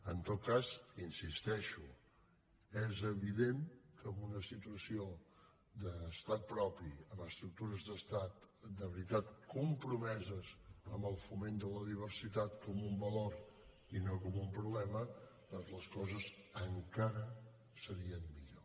en tot cas hi insisteixo és evident que en una situació d’estat propi amb estructures d’estat de veritat compromeses amb el foment de la diversitat com un valor i no com un problema doncs les coses encara serien millor